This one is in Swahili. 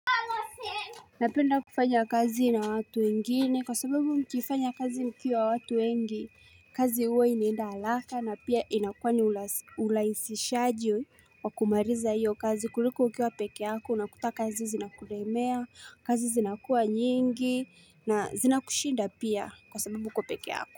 Napenda kufanya kazi na watu wengine kwa sababu mkifanya kazi mkiwa watu wengi kazi huwe inaenda haaka na pia inakua ni urahisishaji wa kumaliza hiyo kazi kuliko ukiwa peke yako unakuta kazi zinakulemea kazi zinakuwa nyingi na zinakushinda pia kwa sababu uko peke yako.